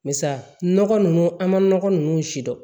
Barisa nɔgɔ nunnu an ma nɔgɔ nunnu si dɔn